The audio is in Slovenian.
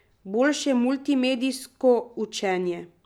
Boljše multimedijsko učenje.